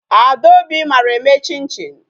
Adaobi mara eme chin chin.